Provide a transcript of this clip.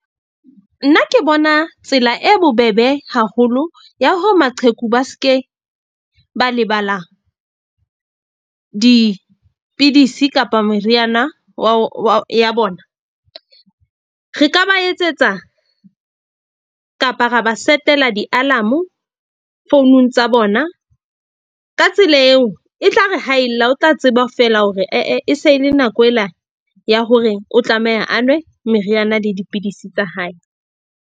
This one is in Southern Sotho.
Nna ke bona tsela e bobebe haholo ya hore maqheku ba seke ba lebala dipidisi kapa meriana wa ya bona, re ka ba etsetsa kapa ra ba set-ela di-alarm-o founung tsa bona. Ka tsela eo e tlare ha e lla o tla tseba feela hore e se le nako ela ya hore o tlameha a nwe meriana le dipidisi tsa hae.